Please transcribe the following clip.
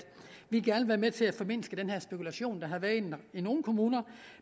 vi gerne vil være med til at formindske den spekulation der har været i nogle kommuner